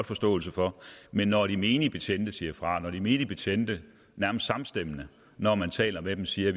forståelse for men når de menige betjente siger fra og når de menige betjente nærmest samstemmende når man taler med dem siger at